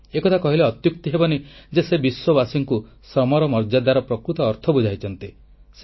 ଏ କଥା କହିଲେ ଅତ୍ୟୁକ୍ତି ହେବନି ଯେ ସେ ବିଶ୍ୱବାସୀଙ୍କୁ ଶ୍ରମର ମର୍ଯ୍ୟାଦାର ପ୍ରକୃତ ଅର୍ଥ ବୁଝାଇଛନ୍ତି